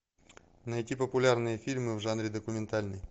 найти популярные фильмы в жанре документальный